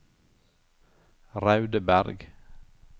Raudeberg